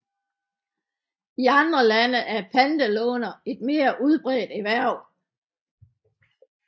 I andre lande er pantelånere et mere udbredt erhverv